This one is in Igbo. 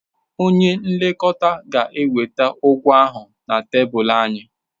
Onye nlekọta ga-eweta ụgwọ ahụ na tebụl anyị.